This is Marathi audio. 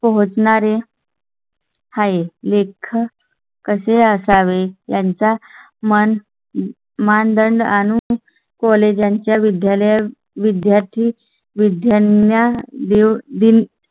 पोहोचणारे. हाय लेखा कसे असावे ह्यांचा? मन मानदंड आणि college च्या विद्यालय विद्यार्थी विद्यालया दि